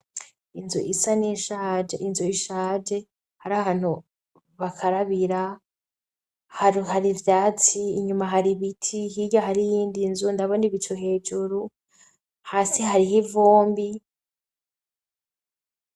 Inzu isa n'ishaje inzu ishaje hari ahantu bakarabira hari hari vyatsi inyuma hari ibiti hirya hari iyindi nzu ndabonibico hejuru hasi hariho ivombi.